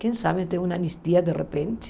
Quem sabe tem uma anistia de repente?